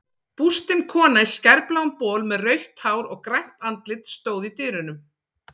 Bústin kona í skærbláum bol með rautt hár og grænt andlit stóð í dyrunum.